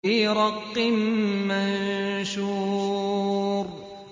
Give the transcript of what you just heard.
فِي رَقٍّ مَّنشُورٍ